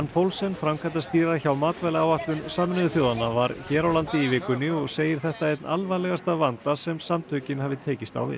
Poulsen framkvæmdastýra hjá matvælaáætlun Sameinuðu þjóðanna var hér landi í vikunni og segir þetta einn alvarlegasta vanda sem samtökin hafi tekist á við